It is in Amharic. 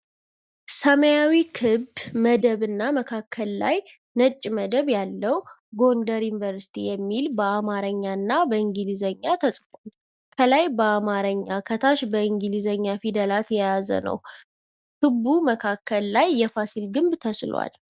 ሰማያዉ ክብ መደብ እና መካከል ላይ ነጭ መደብ ያለዉ ጎንደር ዩኒቨርስቲ የሚል በአማረኛ እና እንግሊዘኛ ተፅፏል። ከላይ አማረኛ ከታች እንግሊዘኛ ፊደላትን የያዘ ነዉ። ክቡ መካከል ላይ የፋሲል ግብ ተስሏል።